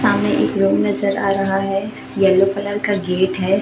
सामने एक रूम नजर आ रहा है येलो कलर का गेट है।